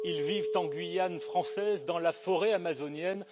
Ils vivent en Guyane française, dans la forêt amazonienne.